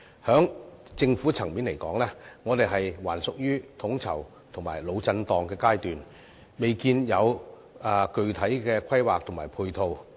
從政府層面來說，我們仍處於統籌及"腦震盪"的階段，未見有具體規劃及配套。